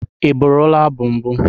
Ị bụrụla abụ mbụ?